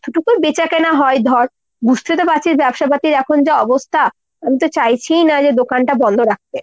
যেতো টুকুন বেচাকেনা হয় ধর বুঝতে তো পারছিস ব্যবসাপাতির এখন যা অবস্থা, আমিতো চাইছিই না যে দোকান টা বন্দ রাখতে।